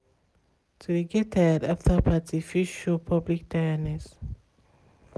to de get tired after party fit show public tireness.